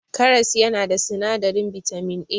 Karas yana da sinadarin bitamin A.